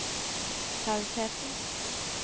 tausheten